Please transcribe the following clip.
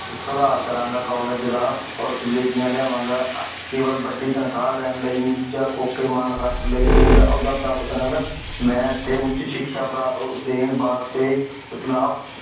ਸੁਧਾਰ ਕਰਾਂਗਾ ਕਾੱਲੇਜ ਦਾ ਓਰ ਸਮ੍ਰਿਧੀਆਂ ਲਿਆਵਾਂਗਾ ਕੇਵਲ ਵੱਡੀ ਤਨਖਾਹ ਲੈਣ ਲਈ ਜਾ ਫੋਕੇ ਮਾਨ ਖਾਤਰ ਨੀ ਅਹੁਦਾ ਪ੍ਰਾਪਤ ਕਰਾਂਗਾ ਮੈਂ ਇਥੇ ਉੱਚ ਸਿਕਸ਼ਾ ਪਰਾ ਦੇਣ ਵਾਸਤੇ